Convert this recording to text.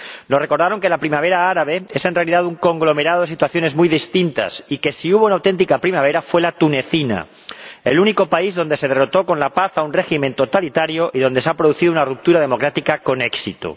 Nos recordaron que la primavera árabe es en realidad un conglomerado de situaciones muy distintas, y que, si hubo una auténtica primavera, fue la tunecina, el único país donde se derrotó con la paz a un régimen totalitario y donde se ha producido una ruptura democrática con éxito.